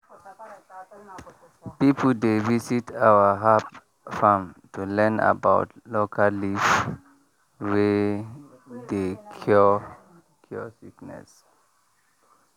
people dey visit our herb farm to learn about local leaf wey dey cure cure sickness.